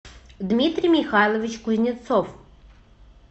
дмитрий михайлович кузнецов